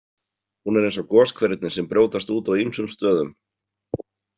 Hún er eins og goshverirnir sem brjótast út á ýmsum stöðum.